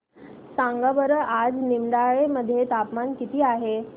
सांगा बरं आज निमडाळे मध्ये तापमान किती आहे